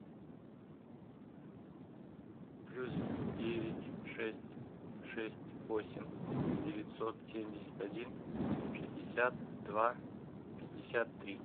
плюс девять шесть шесть восемь девятьсот семьдесят один шестьдесят два пятьдесят три